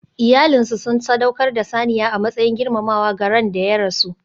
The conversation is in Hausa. Iyalinsu sun sadaukar da saniya a matsayin girmamawa ga ran da ya rasu.